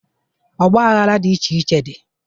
Ọgbaghara dị iche iche dị.